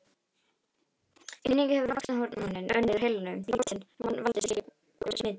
Einnig hefur vaxtarhormón unnið úr heilum látinna manna valdið slíku smiti.